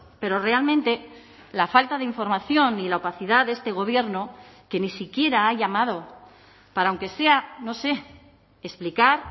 pero realmente la falta de información y la opacidad de este gobierno que ni siquiera ha llamado para aunque sea no sé explicar